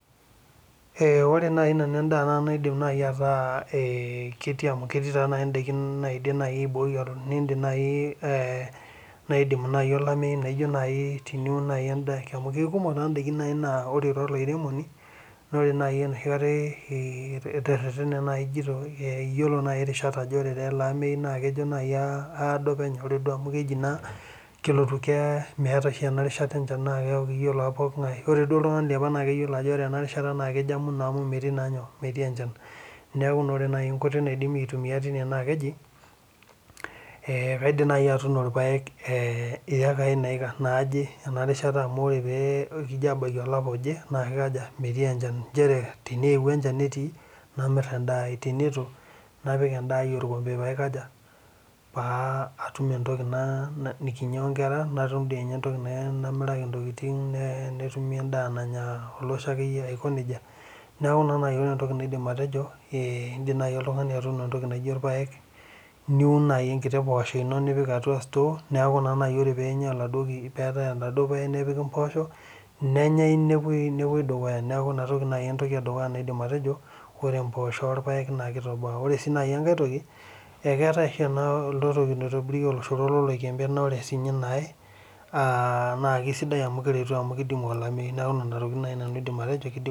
Ee ore naaji nanu edaa, naidim naaji aiboi, nidim naaji, naidimi naaji olameyu, teniun naaji edaa, amu ikumok naaji idaikin naa ore taa olairemoni, naa kidim naaji enoshi kata iteretane, naaji ijito ore naaji irishat ele amayu naa kejo naaji aat, aadol penyo. ore naa amu keji naa ore ena rishata, ore iltunganak liapa keyiolo ajo ore ena rishata naa kejo amuno amu metii naa nyoo, metii enchan. neeku ore naa enkoitoi naidimie aitumia tine naa keji, ee kaidim naaji atuuno ilpaek iyekai, naaje ene rishata amu ore pee ebaya olapa oje, naa kikaja metii enchan. naa ore tenewuk enchan netii. namir edaai. teneitu napik edaai olkompe pee aikaja. pee atum entoki nikinyia oonkera. netumi edaa nanya olosho akeyie. aiko nejia. neeku ore entoki naidim atejo kidim oltungani atuuno entoki naijo irpaek, nipik entoki naijo store neeku ore peetae oladuo puya nepiki, mpoosho nenyae nepuoi dukuya .neku Ina toki naaji entoki naidim atejo. ore mpoosho olpaek naa .ore enkae tok